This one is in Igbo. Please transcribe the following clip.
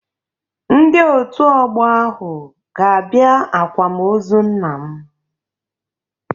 Ndị Òtù Ọgbọ ahụ ga-abịa àkwámoozu nna m.